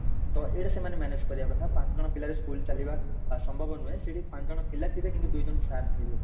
ତ ଏଇଟା ସେମାନେ manage କରିବା କଥା ତ ପାଞ୍ଚ ଜଣ ପିଲାରେ school ଚାଲିବ ଅସମ୍ଭବ ନୁହେଁ ସେଠି ପାଞ୍ଚ ଜଣ ପିଲା ଥିବେ କିନ୍ତୁ ଦୁଇ ଜଣ sir ଥିବେ